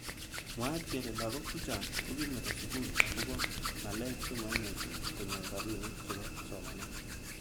Mwaat kele lakok chechang kokimeto sukul akobo ngaek chemaimuch konyor robinik chebo somanet.